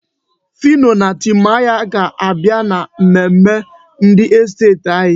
Phyno na Timaya ga-abịa mmemme ndị estet anyị.